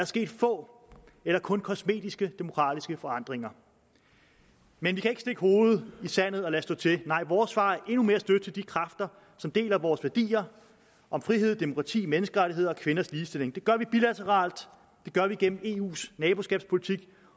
sket få eller kun kosmetiske demokratiske forandringer men vi kan ikke stikke hovedet i sandet og lade stå til nej vores svar er endnu mere støtte til de kræfter som deler vores værdier om frihed demokrati menneskerettigheder og kvinders ligestilling det gør vi bilateralt det gør vi gennem eus naboskabspolitik